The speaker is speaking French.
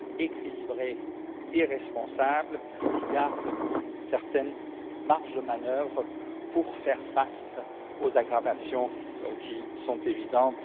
équilibré et responsable, qui garde une certaine marge de manœuvre pour faire face aux aggravations qui sont évidentes.